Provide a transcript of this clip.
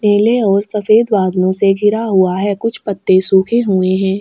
पीले और सफ़ेद बादलो से घिरा हूआ है कुछ पत्ते सूखे हुए है।